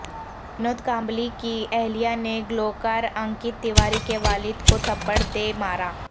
ونود کامبلی کی اہلیہ نے گلوکار انکت تیواری کے والدکو تھپڑ دے مارا